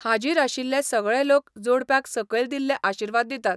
हाजीर आशिल्ले सगळे लोक जोडप्याक सकयल दिल्ले आशीर्वाद दितात.